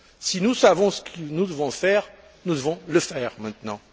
Si nous savons ce que nous devons faire, il nous reste à le faire maintenant.